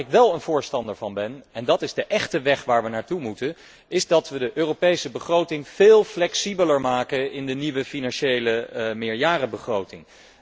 Waar ik wel een voorstander van ben, en dat is de weg waar we echt naar toe moeten is dat we de Europese begroting veel flexibeler maken in de nieuwe financiële meerjarenbegroting.